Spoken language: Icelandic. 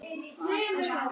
Og alltaf spjall.